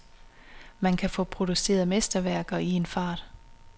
Man kan få produceret mesterværket i en fart.